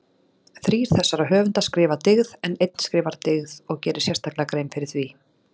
Þrír þessara höfunda skrifa dyggð en einn skrifar dygð og gerir sérstaklega grein fyrir því.